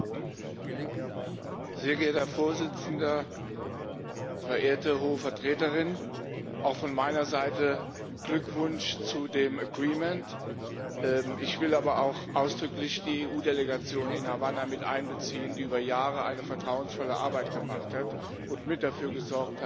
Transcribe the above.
Herr Präsident, verehrte Hohe Vertreterin! Auch von meiner Seite Glückwunsch zu dem Abkommen! Ich will aber auch ausdrücklich die EU Delegation in Havanna mit einbeziehen, die über Jahre eine vertrauensvolle Arbeit gemacht und mit dafür gesorgt hat, dass wir jetzt zu diesem Abkommen